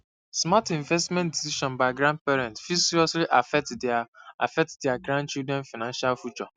smart investment decisions by grandparents fit seriously affect dia affect dia grandchildren financial future